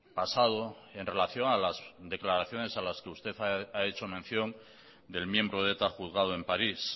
pasado en relación a las declaraciones a las que usted ha hecho mención del miembro de eta juzgado en paris